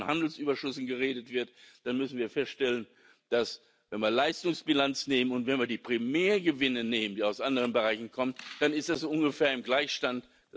kommen. Wenn von den Handelsüberschüssen geredet wird, dann müssen wir feststellen Wenn wir die Leistungsbilanz nehmen und wenn wir die Primärgewinne nehmen, die aus anderen Bereichen kommen, dann ist das ungefähr im Gleichstand.